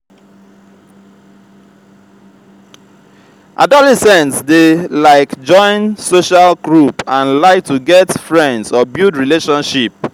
adolescents de like join social group and like to get friends or build relationship